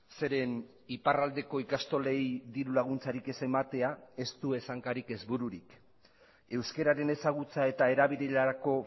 zeren iparraldeko ikastolei dirulaguntzarik ez ematea ez du ez hankarik ez bururik euskararen ezagutza eta erabilerarako